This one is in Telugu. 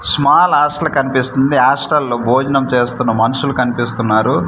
స్మాల్ హాస్టల్ కనిపిస్తుంది హాస్టల్ లో భోజనం చేస్తున్న మనుషులు కనిపిస్తూన్నారు.